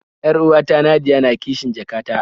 Yar'uwata Nadia na kishn jaka ta